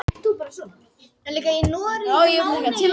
Já, ég vona að svo verði.